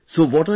Yes Sir